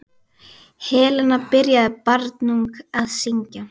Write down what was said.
Helena byrjaði barnung að syngja.